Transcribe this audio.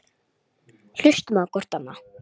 Hlustum á hvort annað.